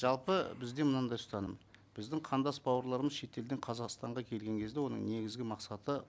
жалпы бізде мынандай ұстаным біздің қандас бауырларымыз шетелден қазақстанға келген кезде оның негізгі мақсаты